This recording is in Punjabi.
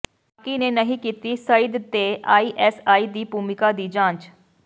ਪਾਕਿ ਨੇ ਨਹੀਂ ਕੀਤੀ ਸਈਅਦ ਤੇ ਆਈਐਸਆਈ ਦੀ ਭੂਮਿਕਾ ਦੀ ਜਾਂਚ